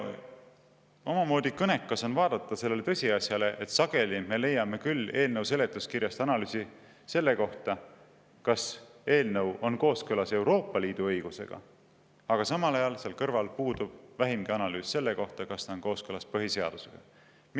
Omamoodi kõnekas on vaadata sellele tõsiasjale, et sageli me leiame küll eelnõu seletuskirjast analüüsi selle kohta, kas eelnõu on kooskõlas Euroopa Liidu õigusega, aga samal ajal seal kõrval puudub vähimgi analüüs selle kohta, kas ta on kooskõlas meie põhiseadusega.